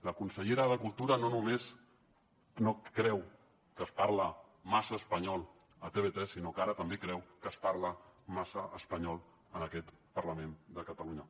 la consellera de cultura no només creu que es parla massa espanyol a tv3 sinó que ara també creu que es parla massa espanyol en aquest parlament de catalunya